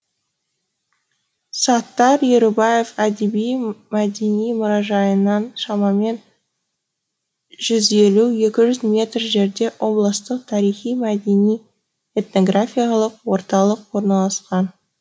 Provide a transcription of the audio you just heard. саттар ерубаев әдеби мәдени мұражайынан шамамен жүз елу екі жүз метр жерде облыстық тарихи мәдени этнографиялық орталық орналасқан